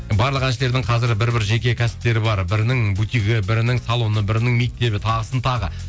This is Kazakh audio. барлық әншілердің қазір бір бір жеке кәсіптері бар бірінің бутигі бірінің салоны бірінің мектебі тағысын тағы